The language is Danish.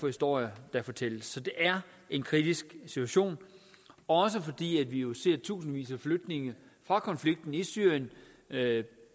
historier så det er en kritisk situation også fordi vi jo ser at tusindvis af flygtninge fra konflikten i syrien